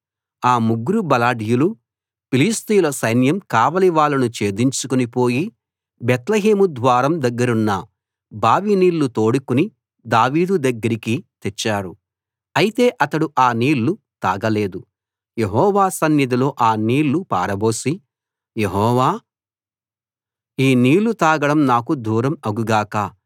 ఆ ముగ్గురు బలాఢ్యులు ఫిలిష్తీయుల సైన్యం కావలి వాళ్ళను ఛేదించుకుని పోయి బేత్లెహేము ద్వారం దగ్గరున్న బావి నీళ్లు తోడుకుని దావీదు దగ్గరికి తెచ్చారు అయితే అతడు ఆ నీళ్లు తాగలేదు యెహోవా సన్నిధిలో అ నీళ్ళు పారబోసి యెహోవా ఈ నీళ్ళు తాగడం నాకు దూరం అగు గాక